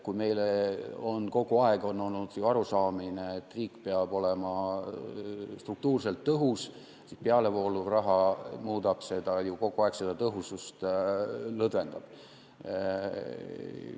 Kui meil on kogu aeg olnud arusaam, et riik peab olema struktuurselt tõhus, siis pealevoolav raha muudab seda, kogu aeg see ju tõhusust lõdvendab.